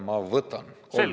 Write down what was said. Ma võtan kolm minutit juurde ...